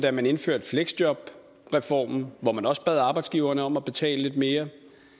da man indførte fleksjobreformen hvor man også bad arbejdsgiverne om at betale lidt mere